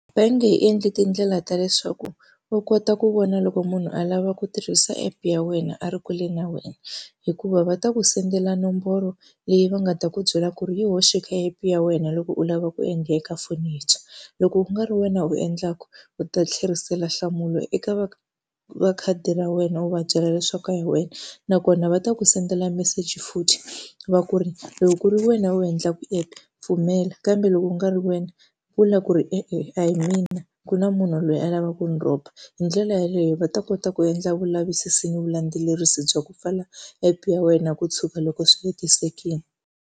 Bangi yi endli tindlela ta leswaku u kota ku vona loko munhu a lava ku tirhisa app ya wena a ri kule na wena. Hikuva va ta ku send-ela nomboro leyi va nga ta ku byela ku ri yi hoxi kha app ya wena loko u lava ku endla eka foni yintshwa. Loko ku nga ri wena u endlaka u ta tlherisela nhlamulo eka va va khadi ra wena u va byela leswaku a hi wena. Nakona va ta ku send-ela meseji futhi, va ku ri loko ku ri wena u endlaka app pfumela, kambe loko ku nga ri wena vula ku ri e-e a hi mina ku na munhu loyi a lavaku ku rhoba. Hi ndlela yaleyo va ta kota ku endla vulavisisi ni vulandzelerisi bya ku pfala app ya wena ku tshuka loko swi hetisekile.